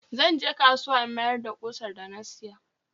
Zan je kasuwa in miyar da ƙusar da na siya.